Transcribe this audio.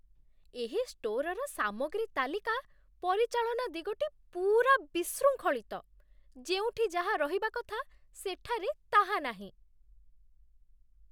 ଏହି ଷ୍ଟୋରର ସାମଗ୍ରୀ ତାଲିକା ପରିଚାଳନା ଦିଗଟି ପୂରା ବିଶୃଙ୍ଖଳିତ। ଯେଉଁଠି ଯାହା ରହିବା କଥା ସେଠାରେ ତାହା ନାହିଁ।